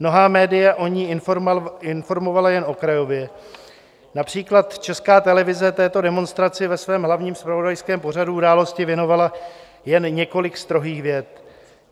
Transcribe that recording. Mnohá média o ní informovala jen okrajově, například Česká televize této demonstraci ve svém hlavním zpravodajském pořadu Události věnovala jen několik strohých vět.